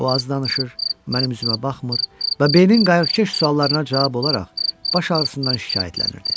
O az danışır, mənim üzümə baxmır və Beynin qayıqkeş suallarına cavab olaraq baş ağrısından şikayətlənirdi.